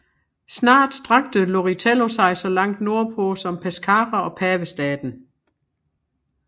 Snart strakte Loritello sig så langt nordpå som Pescara og Pavestaten